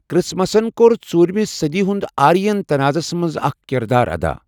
کرسمسَن کوٚر ژوٗرِمہِ صٔدی ہُنٛد آرین تنازَس منٛز اکھ کِردار ادَا۔